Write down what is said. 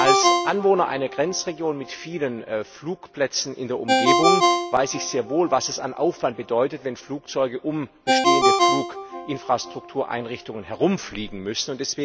Als Anwohner einer Grenzregion mit vielen Flugplätzen in der Umgebung weiß ich sehr wohl, was es an Aufwand bedeutet, wenn Flugzeuge um bestehende Fluginfrastruktureinrichtungen herumfliegen müssen.